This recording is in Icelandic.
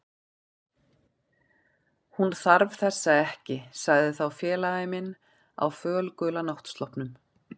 Hún þarf þessa ekki sagði þá félagi minn á fölgula náttsloppnum.